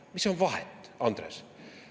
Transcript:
Mis on vahet, Andres?